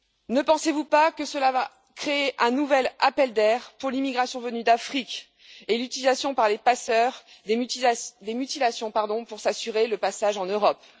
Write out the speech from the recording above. Ne pensez vous pas que cela va créer un nouvel appel d'air pour l'immigration venue d'Afrique et l'utilisation, par les passeurs, des mutilations pour s'assurer le passage en Europe?